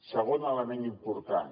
segon element important